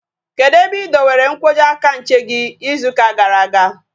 Kedụ ebe ị dowere nkwọji aka nche gị ịzụ ụka gara aga?